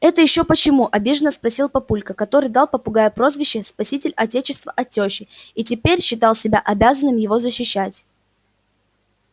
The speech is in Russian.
это ещё почему обиженно спросил папулька который дал попугаю прозвище спаситель отечества от тёщи и теперь считал себя обязанным его защищать